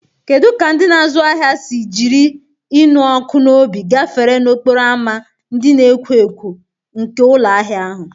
Kedu ka ndị na-azụ ahịa si jiri ịnụ ọkụ n'obi gafere n'okporo ámá ndị na-ekwo ekwo nke ụlọ ahịa ahụ?